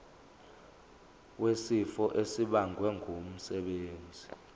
wesifo esibagwe ngumsebenzi